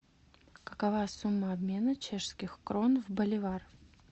какова сумма обмена чешских крон в боливар